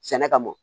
Sɛnɛ kama mɔ